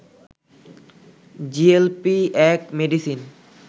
GLP-1 medicine